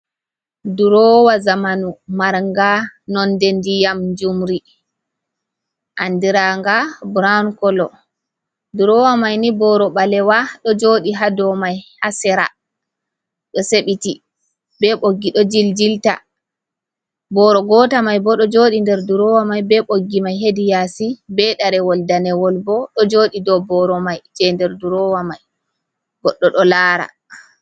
Ɗurowa zamanu marnga nonɗe nɗiyam jumri anɗiranga buraon kolo. Ɗurowa mai ni boro balewa ɗo joɗi ha ɗow mai, ha sera ɗo sebiti be boggi ɗo jiljilta. Boro gota mai bo ɗo joɗi nɗer ɗurowa mai be boggi mai heɗi yasi be ɗarewol ɗanewol bo ɗo jodi ɗow boro mai je nɗer ɗurowa mai goɗɗo ɗo lara.